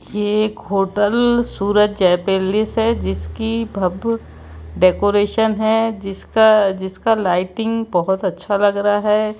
यह एक hotel Suraj Jai palace है जिसकी भव्य डेकोरेशन है जिसका जिसका लाइटिंग बहुत अच्छा लग रहा है।